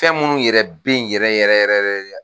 Fɛn minnu yɛrɛ be yen yɛrɛ yɛrɛ yɛrɛ de la